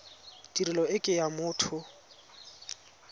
tirelo e ke ya motho